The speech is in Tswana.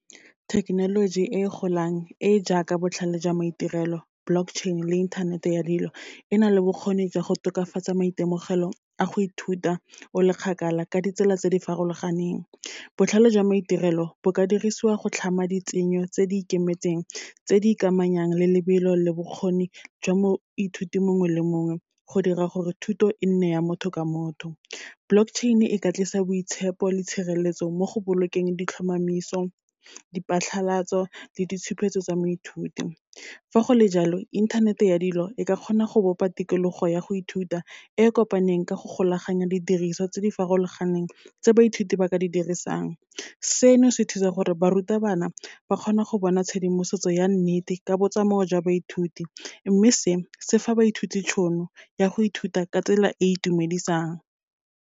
Thekenoloji e golang e e jaaka botlhale jwa maitirelo, block chain-e le inthanete ya dilo, e na le bokgoni jwa go tokafatsa maitemogelo a go ithuta o le kgakala ka ditsela tse di farologaneng. Botlhale jwa maitirelo, bo ka dirisiwa go tlhama ditshenyo tse di ikemetseng tse di ikamanyang le lebelo le bokgoni jwa moithuti mongwe le mongwe, go dira gore thuto e nne ya motho ka motho. Block chain-e e ka tlisa boitshepo le tshireletso mo go bolokeng ditlhomamiso, diphatlhalatso le ditshupetso tsa moithuti. Fa go le jalo, inthanete ya dilo, e ka kgona go bopa tikologo ya go ithuta, e kopaneng ka go golaganya didiriso tse di farologaneng tse baithuti ba ka di dirisang. Seno se thusa gore, barutabana ba kgone go bona tshedimosetso ya nnete, ka botsamao jwa baithuti. Mme se, se fa baithuti tšhono ya go ithuta ka tsela e itumedisang.